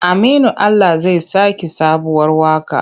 Aminu Ala zai saki sabuwar waƙa.